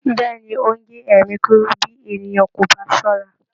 Bẹ́ẹ̀ ni, ó ń gé ẹ̀mí kúrú bí ènìyàn kò bà á ṣọ́ra